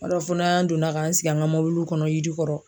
Yɔrɔ fo n'a donna ka an sigi an ka mobiliw kɔnɔ yiri kɔrɔ.